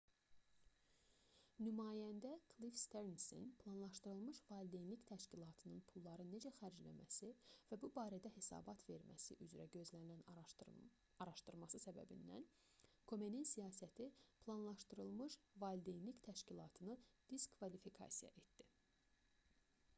nümayəndə klif sternsin planlaşdırılmış valideynlik təşkilatının pulları necə xərcləməsi və bu barədə hesabat verməsi üzrə gözlənilən araşdırması səbəbindən komenin siyasəti planlaşdırılmış valideynlik təşkilatını diskvalifikasiya etdi